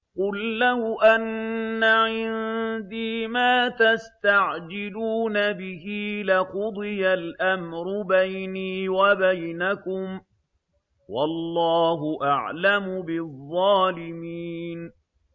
قُل لَّوْ أَنَّ عِندِي مَا تَسْتَعْجِلُونَ بِهِ لَقُضِيَ الْأَمْرُ بَيْنِي وَبَيْنَكُمْ ۗ وَاللَّهُ أَعْلَمُ بِالظَّالِمِينَ